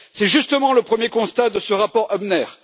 C'est justement le premier constat de ce rapport Hübner.